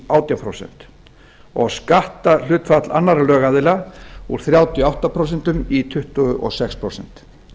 átján prósent og skatthlutfall annarra lögaðila úr þrjátíu og átta prósent í tuttugu og sex prósent